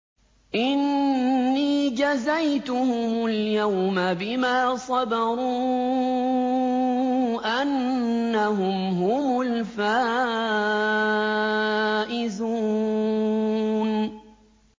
إِنِّي جَزَيْتُهُمُ الْيَوْمَ بِمَا صَبَرُوا أَنَّهُمْ هُمُ الْفَائِزُونَ